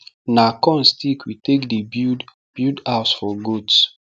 na corn stick we take dey build build house for goats